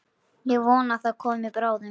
Ég vona það komi bráðum.